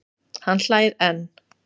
Hann hlær enn.